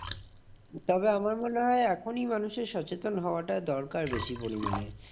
তবে আমার মনে হয় এখনই মানুষের সচেতন হওয়াটা দরকার বেশি পরিমানে।